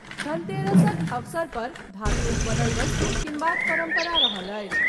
धनतेरसक अवसर पर धातुक बनल वस्तु कीनबाक परंपरा रहल अछि।